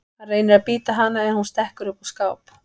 Hann reynir að bíta hana en hún stekkur upp á skáp.